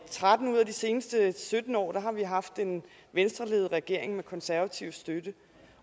tretten ud af de seneste sytten år har vi haft en venstreledet regering med konservativ støtte